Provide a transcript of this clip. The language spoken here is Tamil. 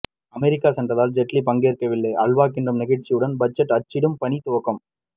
அமெரிக்கா சென்றதால் ஜெட்லி பங்கேற்கவில்லை அல்வா கிண்டும் நிகழ்ச்சியுடன் பட்ஜெட் அச்சிடும் பணி துவக்கம்